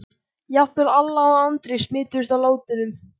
Jafnvel Alla og Andri smituðust af látunum.